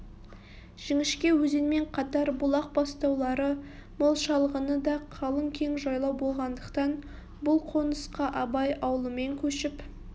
жіңішке өзенмен қатар бұлақ бастаулары мол шалғыны да қалың кең жайлау болғандықтан бұл қонысқа абай аулымен көшіп